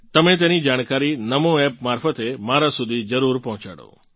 તમે તેની જાણકારી નામો App મારફતે મારાં સુધી જરૂર પહોંચાડો